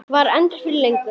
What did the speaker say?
Var það endur fyrir löngu?